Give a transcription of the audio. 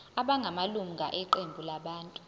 abangamalunga eqembu labantu